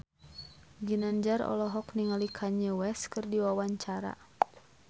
Ginanjar olohok ningali Kanye West keur diwawancara